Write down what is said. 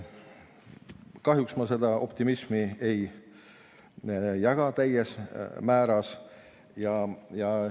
Kahjuks ma seda optimismi täiel määral ei jaga.